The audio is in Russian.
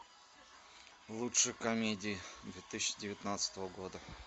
лучшие комедии две тысячи девятнадцатого года